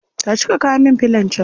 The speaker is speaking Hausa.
Tashi ka kawo min filon can